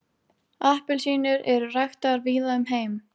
Appelsínur eru ræktaðar víða um heim.